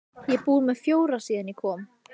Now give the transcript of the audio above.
Ég er búinn með fjóra síðan ég kom.